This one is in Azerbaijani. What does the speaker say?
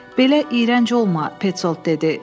Belə iyrənc olma, Pesolt dedi.